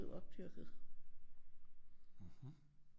Blev opdyrket